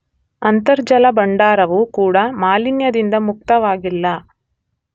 ಅಂತರ್ಜಲ ಭಂಡಾರವೂ ಕೂಡ ಮಾಲಿನ್ಯದಿಂದ ಮುಕ್ತವಾಗಿಲ್ಲ.